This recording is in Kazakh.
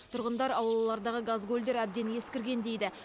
тұрғындар аулалардағы газгольдер әбден ескірген дейді